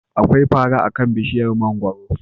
Akwai fara akan bishiyar mangwaro.